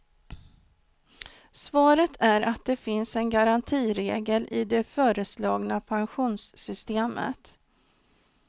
Svaret är att det finns en garantiregel i det föreslagna pensionssystemet.